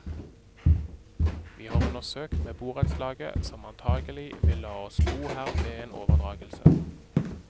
Vi har undersøkt med borettslaget, som antagelig vil la oss bo her ved en overdragelse.